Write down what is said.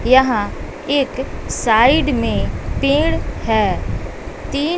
यहां एक साइड में पेड़ है तीन--